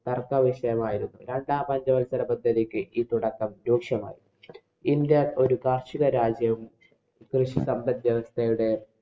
തര്‍ക്കവിഷയമായിരുന്നു. രണ്ടാം പഞ്ചവല്‍സരപദ്ധതിക്ക് ഈ തുടക്കം രൂക്ഷമായി. ഇന്‍ഡ്യ ഒരു കാര്‍ഷികരാജ്യം കൃഷി സമ്പദ് വ്യവസ്ഥയുടെ